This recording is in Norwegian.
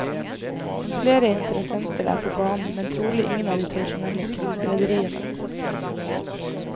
Flere interessenter er på banen, men trolig ingen av de tradisjonelle cruiserederiene.